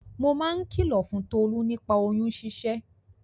Mo máa ń kìlò fún Tolú nípa oyún ṣíṣẹ́.